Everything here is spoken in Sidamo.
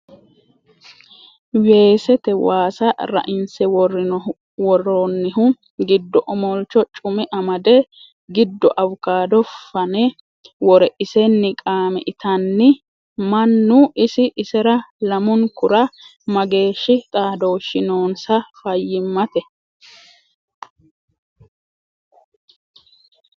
Weesete waasa rainse woronihu giddo omolcho cume amade giddo awukado fane wore isenni qaame itanni ni mannu ,isi isera lamunkura mageeshshi xaadoshi noonsa fayyimate?